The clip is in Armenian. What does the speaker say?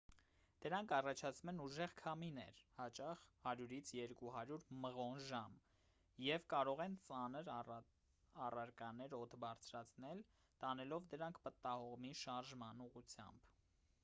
դրանք առաջացնում են ուժեղ քամիներ հաճախ 100 - 200 մղոն/ժամ և կարող են ծանր առարկաներն օդ բարձրացնել՝ տանելով դրանք պտտահողմի շարժման ուղղությամբ։